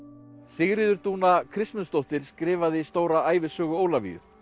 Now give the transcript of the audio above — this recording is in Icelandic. Sigríður Dúna Kristmundsdóttir skrifaði stóra ævisögu Ólafíu